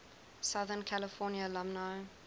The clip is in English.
southern california alumni